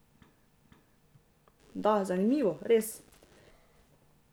Da, zanimivo, res.